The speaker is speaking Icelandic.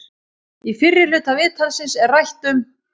Í fyrri hluta viðtalsins er rætt um